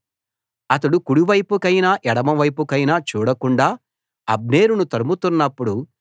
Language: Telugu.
అతడు కుడి వైపుకైనా ఎడమ వైపుకైనా చూడకుండా అబ్నేరును తరుముతున్నప్పుడు